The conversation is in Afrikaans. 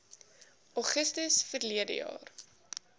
augustus verlede jaar